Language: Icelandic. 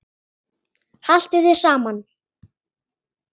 Haltu þér saman